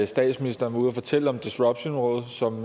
statsministeren var ude at fortælle om disruptionrådet som